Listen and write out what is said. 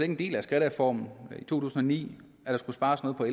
en del af skattereformen i to tusind og ni at der skulle spares noget på